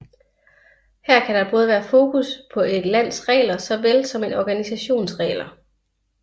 Her kan der både være fokus på et lands regler såvel som en organisations regler